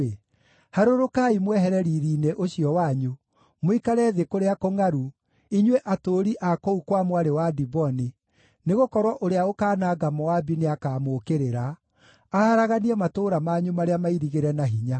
“Harũrũkai mwehere riiri-inĩ ũcio wanyu, mũikare thĩ kũrĩa kũngʼaru, inyuĩ atũũri a kũu kwa Mwarĩ wa Diboni, nĩgũkorwo ũrĩa ũkaananga Moabi nĩakamũũkĩrĩra, aharaganie matũũra manyu marĩa mairigĩre na hinya.